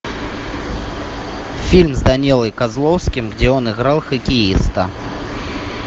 фильм с данилой козловским где он играл хоккеиста